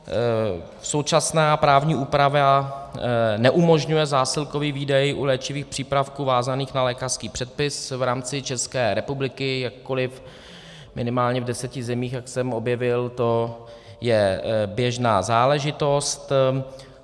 Současná právní úprava neumožňuje zásilkový výdej u léčivých přípravků vázaných na lékařský předpis v rámci České republiky, jakkoliv minimálně v deseti zemích, jak jsem objevil, to je běžná záležitost.